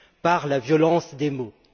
par la violence des mots.